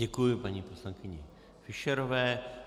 Děkuji paní poslankyni Fischerové.